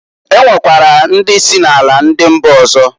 E nwekwara ndị si na ala ndi mba ọzọ.